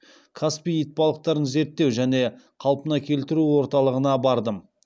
каспий итбалықтарын зерттеу және қалпына келтіру орталығына бардым